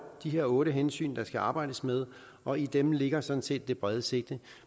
de her otte hensyn der skal arbejdes med og i dem ligger sådan set det brede sigte